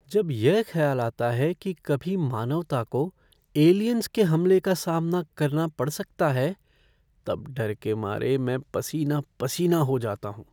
जब यह ख्याल आता है कि कभी मानवता को एलियंस के हमले का सामना करना पड़ सकता है तब डर के मारे मैं पसीना पसीना हो जाता हूँ।